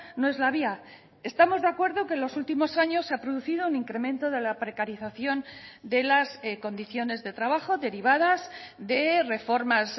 no es la vía estamos de acuerdo que en los últimos años se ha producido un incremento de la precarización de las condiciones de trabajo derivadas de reformas